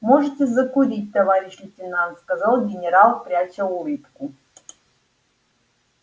можете закурить товарищ лейтенант сказал генерал пряча улыбку